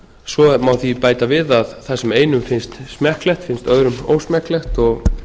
svo má bæta því við að það sem einum finnst smekklegt finnst öðrum ósmekklegt og